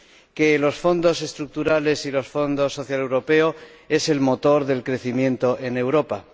que los Fondos Estructurales y el Fondo Social Europeo son el motor del crecimiento en Europa.